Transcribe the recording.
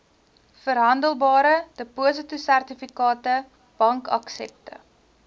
verhandelbare depositosertifikate bankaksepte